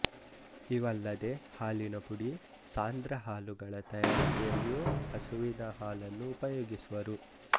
ಇವಲ್ಲದೆ ಹಾಲಿನ ಪುಡಿ ಸಾಂದ್ರ ಹಾಲುಗಳ ತಯಾರಿಕೆಯಲ್ಲಿಯೂ ಹಸುವಿನ ಹಾಲನ್ನು ಉಪಯೋಗಿಸುವರು